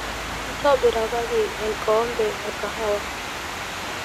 ntobirakaki enkombee ekahawa